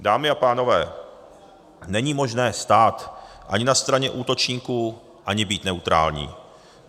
Dámy a pánové, není možné ani stát na straně útočníků, ani být neutrální.